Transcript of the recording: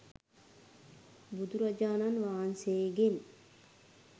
බුදුරජාණන් වහන්සේ ගෙන්